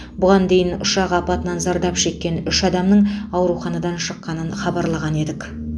бұған дейін ұшақ апатынан зардап шеккен үш адамның ауруханадан шыққанын хабарлаған едік